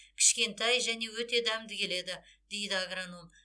кішкентай және өте дәмді келеді дейді агроном